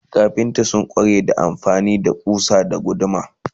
kafinta sun kware amfani da kusa da guduma